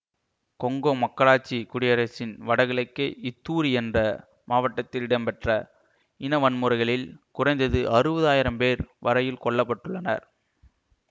Congo மக்களாட்சி குடியரசின் வடகிழக்கே இத்தூரி என்ற மாவட்டத்தில் இடம்பெற்ற இனவன்முறைகளில் குறைந்தது அறுவதாயிரம் பேர் வரையில் கொல்ல பட்டுள்ளனர்